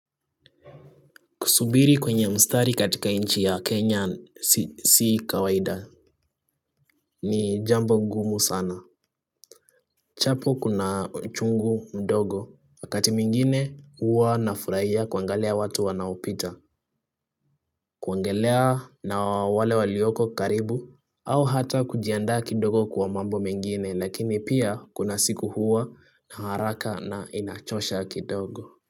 Kusubiri kwenye mstari katika nchi ya kenya si kawaida. Ni jambo ngumu sana. Chapo kuna uchungu mdogo. Wakati mwingine huwa nafurahia kuangalia watu wanaopita kuongelea na wale walioko karibu au hata kujiandaa kidogo kuwa mambo mengine lakini pia kuna siku huwa na haraka na inachosha kidogo.